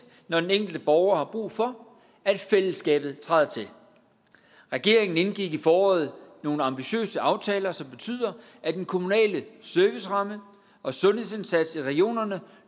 når den enkelte borger har brug for at fællesskabet træder til regeringen indgik i foråret nogle ambitiøse aftaler som betyder at den kommunale serviceramme og sundhedsindsatsen i regionerne